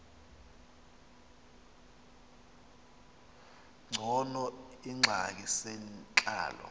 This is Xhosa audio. ngcono iingxaki zentlalo